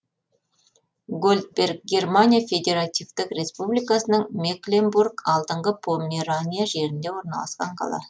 гольдберг германия федеративтік республикасының мекленбург алдыңғы померания жерінде орналасқан қала